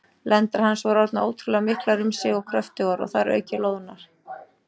Lendar hans voru orðnar ótrúlega miklar um sig og kröftugar, og þar að auki loðnar.